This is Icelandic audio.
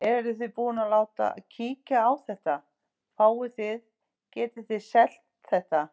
Eruð þið búin að láta kíkja á þetta, fáið þið, getið þið selt þetta?